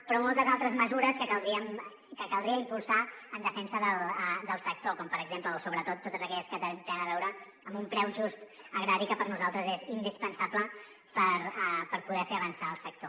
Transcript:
però moltes altres mesures que caldria impulsar en defensa del sector com per exemple o sobretot totes aquelles que tenen a veure amb un preu just agrari que per nosaltres és indispensable per poder fer avançar el sector